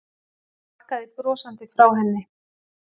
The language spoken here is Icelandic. Ég bakkaði brosandi frá henni.